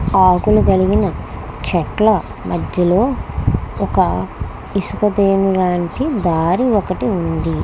ఆకుల కరిగిన చెట్ల మద్యలో ఒక ఇసుపెతియన్ లాంటి దరి ఒకటి వుంది.